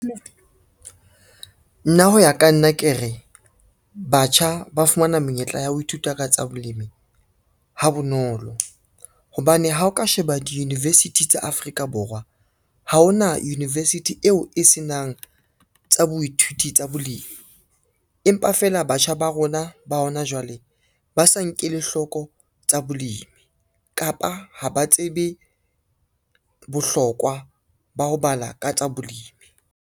Nna ho ya ka nna ke re, batjha ba fumana menyetla ya ho ithuta ka tsa bolemi ha bonolo, hobane ha o ka sheba di-university tsa Afrika Borwa ha ona university eo e senang tsa boithuti tsa bolimi. Empa fela batjha ba rona ba hona jwale ba sa nkelle hloko tsa bolemi kapa ha ba tsebe bohlokwa ba ho bala ka tsa bolemi.